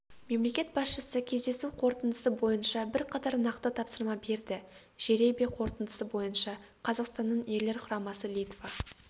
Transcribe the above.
мемлекет басшысы кездесу қорытындысы бойынша бірқатар нақты тапсырма берді жеребе қорытындысы бойынша қазақстанның ерлер құрамасы литва